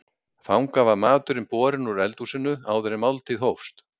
Þangað var maturinn borinn úr eldhúsinu áður en máltíð hófst.